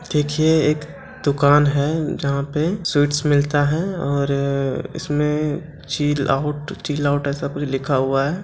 देखिए एक दुकान है जहाँ पे स्वीट्स मिलता है और इसमे चील आउट चील आउट ऐसा कुछ लिखा हुआ है।